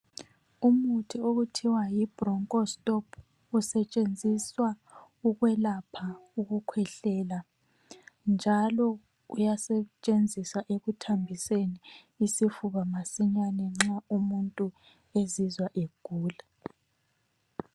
Umuthi okuthiwa yi Bronchostop, usetshenziswa ukwelapha ukukhwehlela ,njalo uyasetshenziswa ekuthambiseni isifuba masinyane nxa umuntu ezizwa egula.